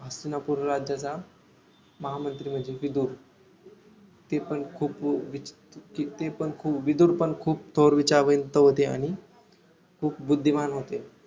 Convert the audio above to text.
हस्तिनापुर राज्याचा महामंत्री म्हणजे विधुर ते पण खूप ते पण खूप विधुर पण खूप थोर विचारवंत होते आणि खूप बुद्धिमान होते